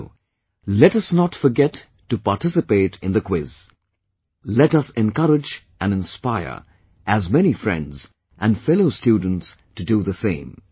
So, let us not forget to participate in the Quiz... let us encourage & inspire as many friends & fellow students to do the same